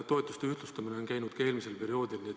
Toetuste ühtlustamine on käinud ka eelmisel perioodil.